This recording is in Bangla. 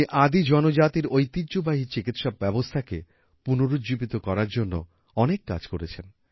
উনি আদি জনজাতির ঐতিহ্যবাহী চিকিৎসা ব্যবস্থাকে পুনরুজ্জীবিত করার জন্য অনেক কাজ করেছেন